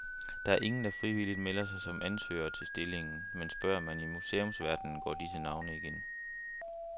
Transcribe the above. Der er ingen, der frivilligt melder sig som ansøgere til stillingen, men spørger man i museumsverdenen, går disse navne igen.